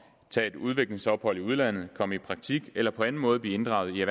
tage et udviklingsophold i udlandet komme i praktik eller på anden måde blive inddraget